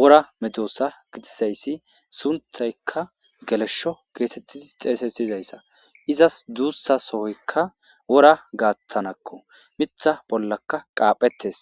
wora medossa gixisayssi sunthaykka gelesho keesettii xeesesyizayssa izas duussa sohoykka wora gaaththanakko mitha bollaka qaaphettes